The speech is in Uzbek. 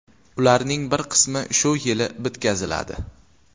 Ularning bir qismi shu yili bitkaziladi.